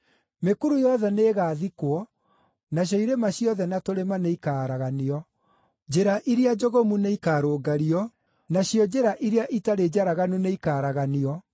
Mĩkuru yothe nĩĩgathikwo, nacio irĩma ciothe na tũrĩma nĩikaaraganio. Njĩra iria njogomu nĩikarũngario, nacio njĩra iria itarĩ njaraganu nĩikaaraganio.